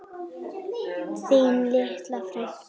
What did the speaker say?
Þín litla frænka.